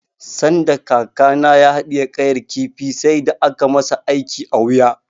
Sanda kakana ya haɗiye ƙayar kifi sai da aka masa aiki a wuya.